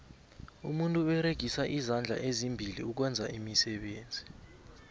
umuntu uberegisa izandla ezimbili ukwenza iimisebenzi